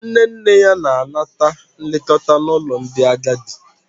Nne nne ya na-anata nlekọta n'ụlọ ndị agadi.